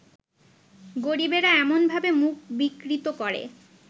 গরিবেরা এমনভাবে মুখ বিকৃত করে